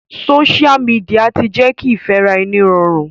Social media ti jẹ́ kí ìfẹ́ràẹni rọrùn.